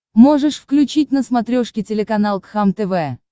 можешь включить на смотрешке телеканал кхлм тв